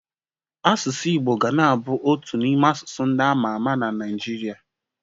Asụsụ Igbo ga na-abụ otu n'ime asụsụ ndị ama ama n'Naịjirịa.